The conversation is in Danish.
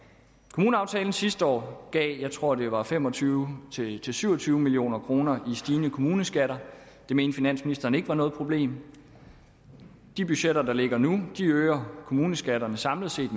kommuneaftalen sidste år gav jeg tror det var fem og tyve til til syv og tyve million kroner i stigende kommuneskatter det mente finansministeren ikke var noget problem de budgetter der ligger nu øger kommuneskatterne samlet set